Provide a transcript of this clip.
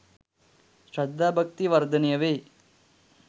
ශ්‍රද්ධා භක්තිය වර්ධනය වේ.